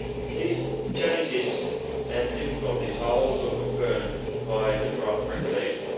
These challenges and difficulties are also confirmed by the draft regulation.